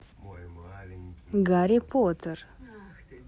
гарри поттер